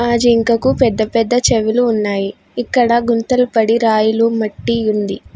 ఆ జింకకు పెద్ద పెద్ద చెవులు ఉన్నాయి ఇక్కడ గుంతలు పడి రాయిలు మట్టి ఉంది.